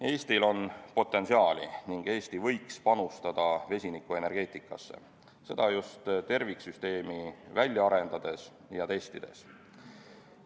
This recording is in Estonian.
Eestil on potentsiaali ning Eesti võiks panustada vesinikuenergeetikasse, seda just terviksüsteemi välja arendades ja testides.